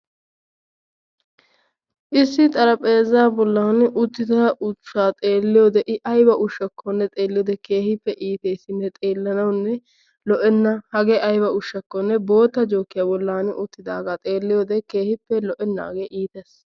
Issi xarapheezzaa bollan uttida ushshaa xeelliyode I ayba ushshakkone xeelliyode keehippe iiteesinne xeellanawunne lo"enna. Hagee ayba ushshakkonne bootta jookiya bollan uttidaagaa xeelliyode keehippe lo"ennaagee iites.